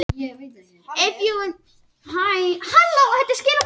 Gunni Gunn kemur Haukum yfir í upphafi leiks með marki úr hornspyrnu.